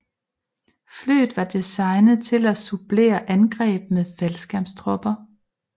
Flyet var designet til at supplere angreb med faldskærmstropper